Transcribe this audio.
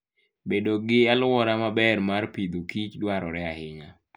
Bedo gi alwora maber mar Agriculture and Fooddwarore ahinya.